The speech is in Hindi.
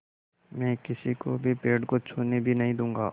मैं किसी को भी पेड़ को छूने भी नहीं दूँगा